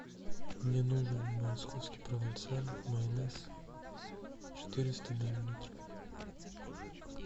мне нужен московский провансаль майонез четыреста миллилитров